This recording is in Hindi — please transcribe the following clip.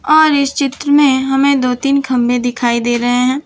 और इस चित्र में हमें दो तीन खंबे दिखाई दे रहे हैं।